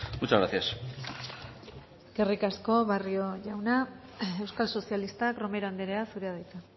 muchas gracias eskerrik asko barrio jauna euskal sozialistak romero andrea zurea da hitza